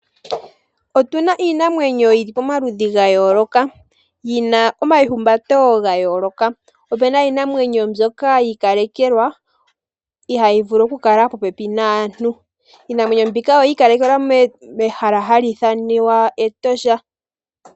Otuna iinamwenyo yili pomaludhi gayooloka. Yina omayihumbato gayooloka, opena iinamwenyo mbyoka yi ikalekelwa ihayi vulu oku kala popepi naantu. Iinamwenyo mbika oyi ikalekelwa mehala ali ithaniwa Etosha.